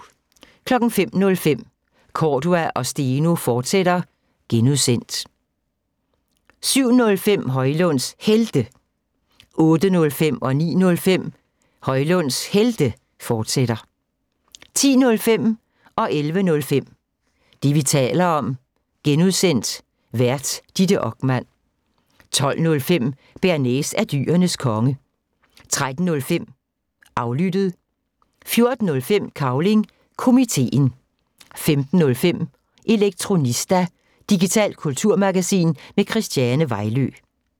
05:05: Cordua & Steno, fortsat (G) 07:05: Højlunds Helte 08:05: Højlunds Helte, fortsat 09:05: Højlunds Helte, fortsat 10:05: Det, vi taler om (G) Vært: Ditte Okman 11:05: Det, vi taler om (G) Vært: Ditte Okman 12:05: Bearnaise er Dyrenes Konge 13:05: Aflyttet 14:05: Cavling Komiteen 15:05: Elektronista – digitalt kulturmagasin med Christiane Vejlø